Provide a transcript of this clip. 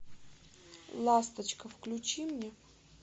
ласточка включи мне